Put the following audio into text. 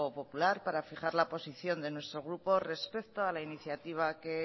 popular para fijar la posición de nuestro grupo respecto a la iniciativa que